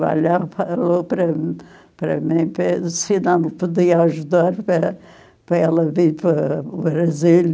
falou para para mim se nós não podia ajudar para ela vir para o Brasil.